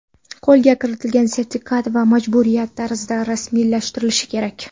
Qo‘lga kiritilgan sertifikat ham majburiyat tarzida rasmiylashtirilishi kerak.